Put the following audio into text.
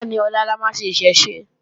Bẹ́ẹ̀ni, ọlá la máa ṣe Ìṣẹ̀ṣe